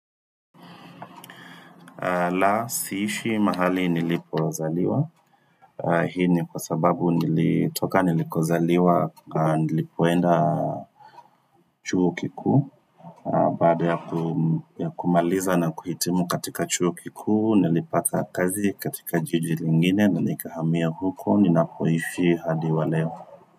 La, siishi mahali nilipozaliwa Hii ni kwa sababu nilitoka nilikozaliwa Nilipoenda chuo kikuu Baada ya kumaliza na kuhitimu katika chuo kikuu Nilipata kazi katika jiji lingine na nikahamia huko ninapoishi hadi wa leo.